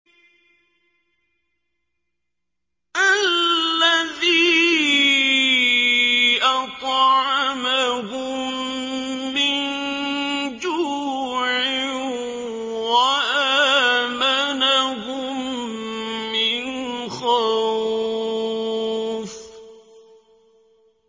الَّذِي أَطْعَمَهُم مِّن جُوعٍ وَآمَنَهُم مِّنْ خَوْفٍ